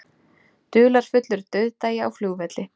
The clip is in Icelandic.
Dularfullur dauðdagi á flugvelli